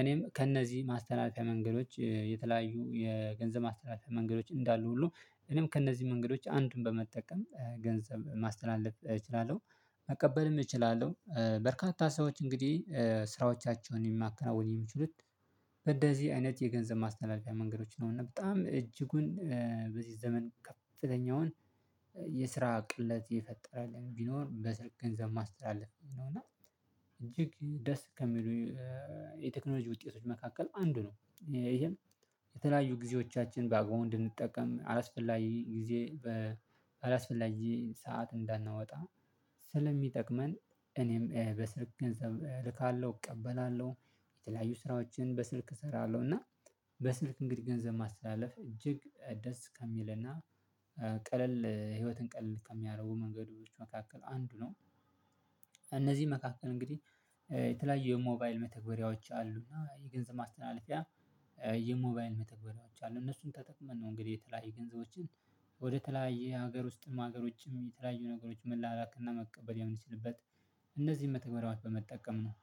እኔም ከእነዚህ ማስትላለፍያ መንገዶች የተለያዩ የገንዘብ ማስተላለፍያ መንገዶች እንዳሉ ሁሉ እኔም ከእነዚህ መንገዶች አንዱን በመጠቀም ገንዘብ ማስተላለፍ እችላለሁ። መቀበልም እችላለሁ በርካታ ሰዎች እንግዲህ ስራዎቻቸውን የሚያከናውን የሚችሉት በደዚህ አይነት የገንዘብ ማስተላለፊያ መንገዶች ነው። እና በጣም እጅጉን በዚህ ዘመን ከፍተኛውን የስራ ቅለት የፈጠረልኝ ቢኖር በበስልክ ገንዘብ ማስተላለፍ ነው። እና እጅግ ደስ ከሚሉ የቴክኖሎጂ ውጤቶች መካከል አንዱ ነው። ይሄም የተለያዩ ጊዜዎቻችን በአግባቡ እንድንጠቀም አላስፈላጊ ጊዜ በአላስፈላጊ ሰዓት እንዳናወጣ ስለሚጠቅመን እኔም በስልክ ገንዘብ እልካለሁ እቀበላለሁ። የተለያዩ ስራዎችን በስልክ እሰራለሁ እና በስልክ እንግዲህ ገንዘብ ማስተላለፍ እጅግ ደስ ከሚልና ቀለል ህይወትን ቀለል ከሚያደርጉ መንገዶች መካከል አንዱ ነው። እነዚህ መካከል እንግዲህ የተለያዩ የሞባይል መተግበሪያዎች አሉ እና የገንዘብ ማስተላለፍያ የሞባይል መተግበሪያዎች አሉ እነሱን ተጠቅመን ነው እንግዲህ የተለያየ ገንዘቦችን ወደተለያዩ ሀገር ውስጥም ሀገሮችም የተለያዩ ነገሮች መላላክና መቀበል ያምንችልበት እነዚህን መተግበራዎች በመጠቀም ነው